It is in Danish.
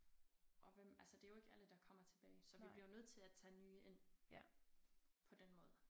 Og hvem altså det jo ikke alle der kommer tilbage så vi bliver jo nødt til at tage nye ind på den måde